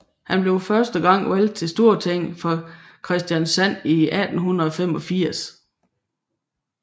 Han blev første gang valgt til Stortinget for Kristiansand i 1885